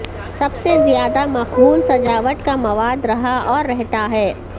سب سے زیادہ مقبول سجاوٹ کا مواد رہا اور رہتا ہے